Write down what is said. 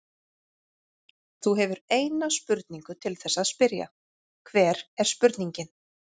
Þú hefur eina spurningu til þess að spyrja, hver er spurningin?